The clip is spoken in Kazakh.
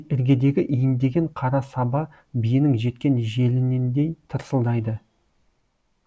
іргедегі иіндеген қара саба биенің жеткен желініндей тырсылдайды